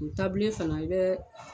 N taabolo in fana i bɛ